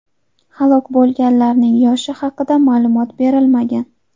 Halok bo‘lganlarning yoshi haqida ma’lumot berilmagan.